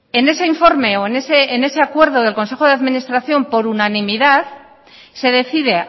en ese informe o en ese acuerdo del consejo de administración por unanimidad se decide